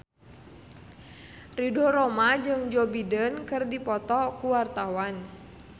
Ridho Roma jeung Joe Biden keur dipoto ku wartawan